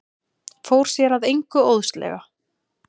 Fór sér að engu óðslega.